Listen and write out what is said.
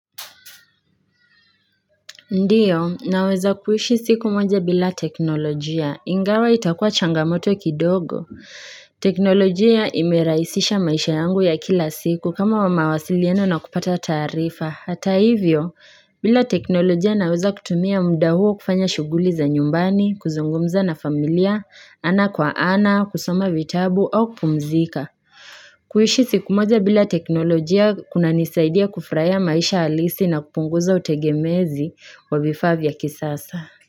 Ndiyo, naweza kuhishi siku moja bila teknolojia. Ingawa itakua changamoto kidogo. Teknolojia imeraisisha maisha yangu ya kila siku kama wa mawasilieno na kupata tarifa. Hata hivyo, bila teknolojia naweza kutumia mda huo kufanya shuguli za nyumbani, kuzungumza na familia, ana kwa ana, kusoma vitabu, au kpumzika. Kuishi siku moja bila teknolojia kuna nisaidia kufraya maisha alisi na kupunguza utegemezi wa vifabia kisasa.